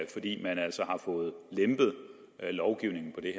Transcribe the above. man altså har fået lempet lovgivningen på det